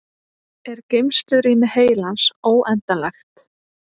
er geymslurými heilans óendanlegt